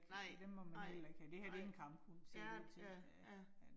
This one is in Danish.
Nej, nej, nej. Ja, ja, ja